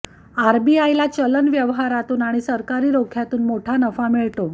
आरबीआयला चलन व्यवहारातून आणि सरकारी रोख्यातून मोठा नफा मिळतो